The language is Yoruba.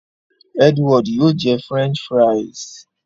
Edward yóò jẹ french fries.